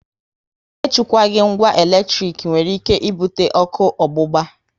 E chukwaghi ngwa eletrik nwere ike ibute ọkụ ogbugba